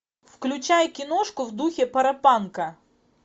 включай киношку в духе паропанка